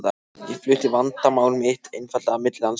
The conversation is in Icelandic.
Ég flutti vandamál mitt einfaldlega milli landshluta.